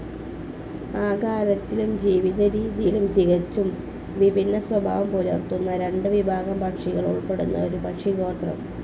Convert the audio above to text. ആകാരത്തിലും ജീവിതരീതിയിലും തികച്ചും വിഭിന്ന സ്വഭാവം പുലർത്തുന്ന രണ്ടു വിഭാഗം പക്ഷികൾ ഉൾപ്പെടുന്ന ഒരു പക്ഷിഗോത്രം.